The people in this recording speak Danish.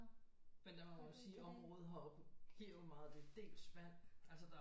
Men der må man også sige området heroppe giver jo meget af det dels vand altså der